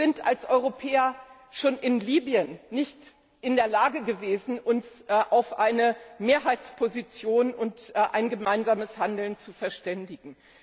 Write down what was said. Wir sind als Europäer schon in Libyen nicht in der Lage gewesen, uns auf eine Mehrheitsposition und ein gemeinsames Handeln zu verständigen.